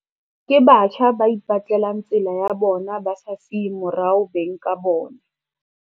Ke batjha ba ipetlelang tsela ya bona ba sa siye morao beng ka bona.